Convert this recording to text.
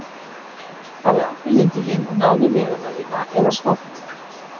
Farðu aftur heim til þín og náðu í miðana þína eða smápeninga.